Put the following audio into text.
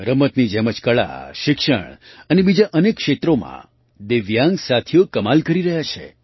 રમતની જેમ જ કળા શિક્ષણ અને બીજાં અનેક ક્ષેત્રોમાં દિવ્યાંગ સાથીઓ કમાલ કરી રહ્યા છે